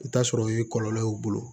I bi t'a sɔrɔ o ye kɔlɔlɔ y'o bolo